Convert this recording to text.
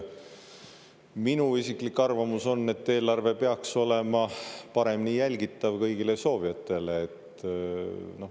Minu isiklik arvamus on, et eelarve peaks olema paremini jälgitav kõigile soovijatele.